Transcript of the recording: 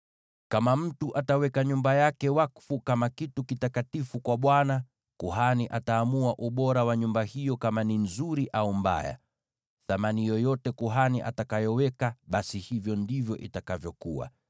“ ‘Kama mtu ataweka nyumba yake wakfu kama kitu kitakatifu kwa Bwana , kuhani ataamua ubora wa nyumba hiyo, kama ni nzuri au mbaya. Thamani yoyote kuhani atakayoweka, basi hivyo ndivyo itakavyokuwa.